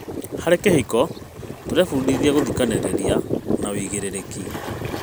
Harĩ kĩhiko, tũrebundithia gũthikĩrĩrania na wĩigĩrĩrĩki.